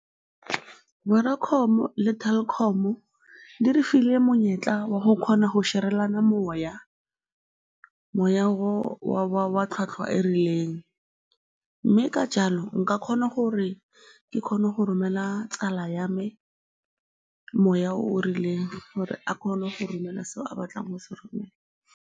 Vodacom-o le Telkom-o di re file monyetla wa go kgona go share-relana moya, moya o wa tlhwatlhwa e e rileng mme ka jalo nka kgona gore ke kgone go romelela tsala ya me moya o o rileng gore a kgone go romela seo a batlang go se romela.